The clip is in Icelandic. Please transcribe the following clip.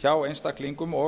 hjá einstaklingum og